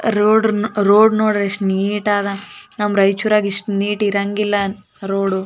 Road road ನೋಡಿ ಎಷ್ಟು neat ಅದಾ ನಮ್ಮ ರಾಯಚೂರಿನಾಗೆ ಇಷ್ಟು ನೀಟ್ ಇರಂಗಿಲ್ಲ ರೋಡ್ .